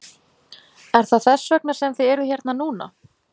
Er það þess vegna sem þið eruð hérna núna?